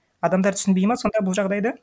адамдар түсінбейді ма сонда бұл жағдайды